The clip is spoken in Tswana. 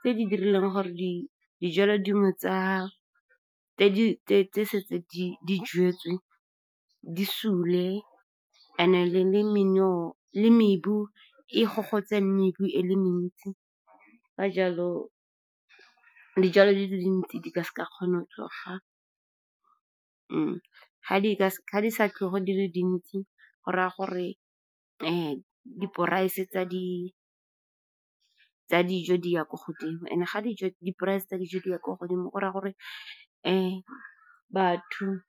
tse di dirileng gore dijalo dingwe tse setseng di jetswe di sule. And-e le mebu e gogotse, mebu e le mentsi, ka jalo dijalo di le dintsi di ka se ka kgone go tsoga. Ga di sa tlhole di le dintsi, go raya gore di-price tsa di dijo di ya ko godimo. And-e ga di-price tsa dijo di ya ko godimo, go raya gore batho.